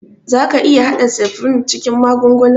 Za ka iƴa hada septrin cikin magungunan?